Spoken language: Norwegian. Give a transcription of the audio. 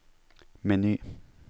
meny